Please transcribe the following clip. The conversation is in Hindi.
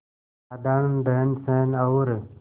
साधारण रहनसहन और